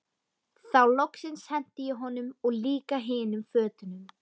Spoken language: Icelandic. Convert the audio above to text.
Þá loksins henti ég honum og líka hinum fötunum.